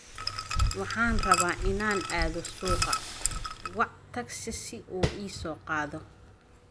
Waxaan rabaa inaan aado suuqa, wac tagsi si uu ii soo qaado